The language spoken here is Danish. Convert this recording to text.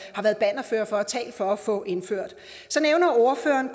bannerførere for og talt for at få indført ordføreren